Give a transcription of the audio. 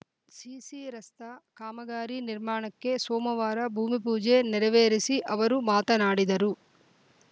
CC ರಸ್ತ ಕಾಮಗಾರಿ ನಿರ್ಮಾಣಕ್ಕೆ ಸೋಮವಾರ ಭೂಮಿಪೂಜೆ ನೆರವೇರಿಸಿ ಅವರು ಮಾತನಾಡಿದರು